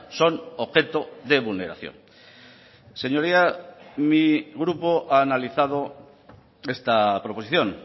son objeto de vulneración señoría mi grupo ha analizado esta proposición